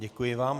Děkuji vám.